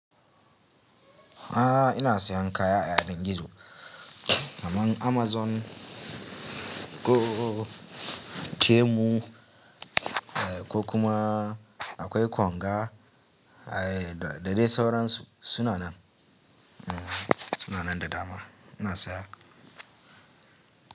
A'a, ina sayan kaya a yanar gizo, kamar Amazon ko Temu, ko kuma akwai Konga da dai sauran su, suna nan, suna nan da dama, ina saya.